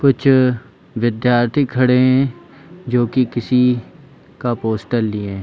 कुछ विद्यार्थी खड़े है जो की किसी का पोस्टर लिए है।